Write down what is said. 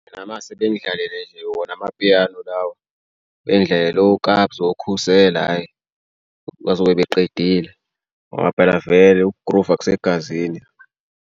Mina uma ngase bengidlalele nje wona amapiyano lawa bengdlalele oKabza oKhusela hhayi. Bazobe baqedile ngoba phela vele ukugruva kusegazini.